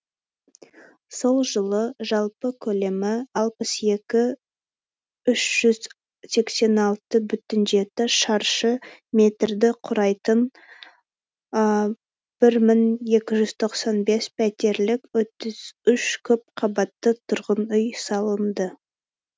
сол жылы жалпы көлемі алпыс екі үш жүз сексен алты бүтін жеті шаршы метрді құрайтын бір мың екі жүз тоқсан бес пәтерлік отыз үш көп қабатты тұрғын үй салынды